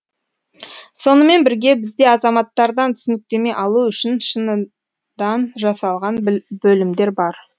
сонымен бірге бізде азаматтардан түсініктеме алу үшін шыныдан жасалған бөлімдер бар